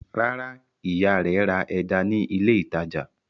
Rárá, ìyá rẹ̀ ra ẹja ní ilé-ìtajà.